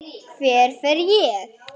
Hver fer ég?